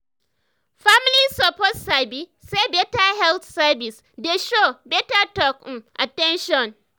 family suppose sabi say better health service dey show better talk and um at ten tion.